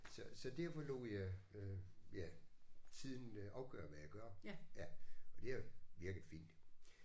Så så derfor lod jeg øh ja tiden øh afgøre hvad jeg gør ja og det har virket fint